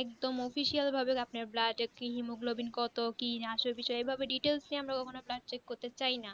একদম official ভাবে আপনি আপনার blood haemoglobin কত কি আসল বিষয় ভেবে details নিয়ে পরীক্ষা করতে চাইনা